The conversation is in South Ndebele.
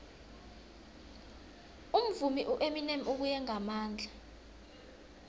umvumi ueminem ubuye ngamandla